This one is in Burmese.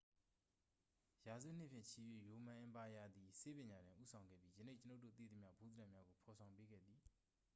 ရာစုနှစ်ဖြင့်ချီ၍ ရိုမန်အင်ပါယာသည် ဆေးပညာတွင် ဦးဆောင်ခဲ့ပြီး ယနေ့ကျွန်ုပ်တို့သိသမျှ ဗဟုသုတများကို ဖော်ဆောင်ပေးခဲ့သည်